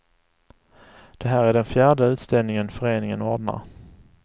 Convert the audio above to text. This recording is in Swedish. Det här är den fjärde utställningen föreningen ordnar.